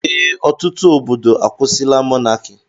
Ee, ọtụtụ obodo akwusila mọnaki